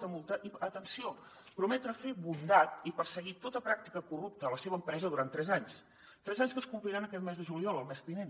ta multa i atenció prometre fer bondat i perseguir tota pràctica corrupta a la seva empresa durant tres anys tres anys que es compliran aquest mes de juliol el mes vinent